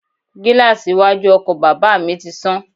Gíláàsì iwájú ọkọ̀ bàbà mi ti sán.